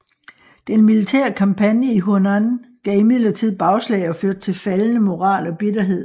Den militære kampagne i Hunan gav imidlertid bagslag og førte til faldende moral og bitterhed